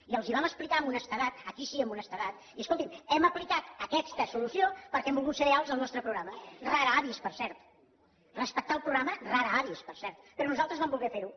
i els ho vam explicar amb honestedat aquí sí amb honestedat i escolti’m hem aplicat aquesta solució perquè hem volgut ser lleials al nostre programa rara avis per cert respectar el programa rara avis per cert però nosaltres vam voler fer ho